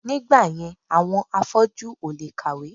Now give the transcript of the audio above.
Nígbàyẹn àwọn afọ́jú ò lè kàwé